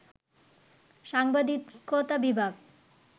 সাংবাদিকতা বিভাগ